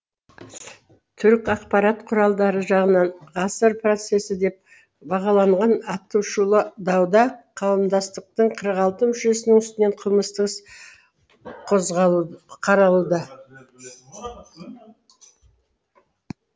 түрік ақпарат құралдары жағынан ғасыр процессі деп бағаланған атышулы дауда қауымдастықтың қырық алты мүшесінің үстінен қылмыстық іс қозғалуда қаралуда